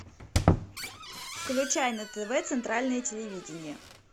включай на тв центральное телевидение